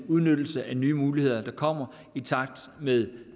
udnyttelse af nye muligheder der kommer i takt med